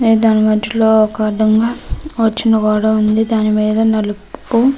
దాని మధ్యలో ఒక అద్దం వచ్చిన ఉంది దాని మీద నలుపు --